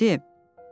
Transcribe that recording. Bura nədir?